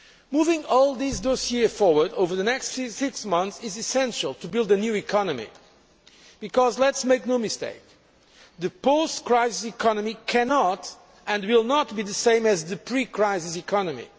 Moving all these dossiers forward over the next six months is essential to build a new economy, because let us make no mistake the post crisis economy cannot and will not be the same as the pre crisis economy.